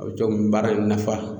A bɛ to n baara in nafa.